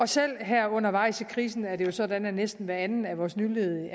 selv her undervejs i krisen er det jo sådan at næsten hver anden af vores nyledige